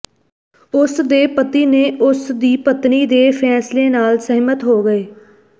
ਉਸ ਦੇ ਪਤੀ ਨੇ ਉਸ ਦੀ ਪਤਨੀ ਦੇ ਫੈਸਲੇ ਨਾਲ ਸਹਿਮਤ ਹੋ ਗਏ